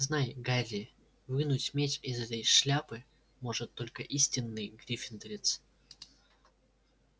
знай гарри вынуть меч из этой шляпы может только истинный гриффиндорец